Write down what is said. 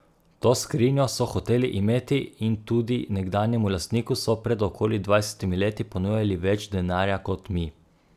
To skrinjo so hoteli imeti in tudi nekdanjemu lastniku so pred okoli dvajsetimi leti ponujali več denarja kot mi.